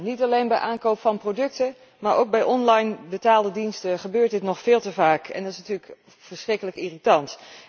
Niet alleen bij aankoop van producten, maar ook bij online betaalde diensten gebeurt dit nog veel te vaak en dat is natuurlijk verschrikkelijk irritant.